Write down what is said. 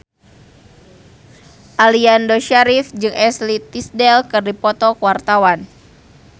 Aliando Syarif jeung Ashley Tisdale keur dipoto ku wartawan